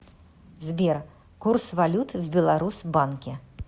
сбер курс валют в беларус банке